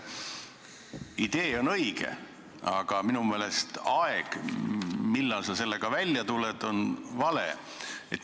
Idee on õige, aga minu meelest aeg, millal sa sellega välja tuled, on vale.